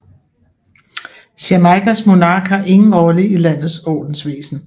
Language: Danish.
Jamaicas monark har ingen rolle i landets ordensvæsen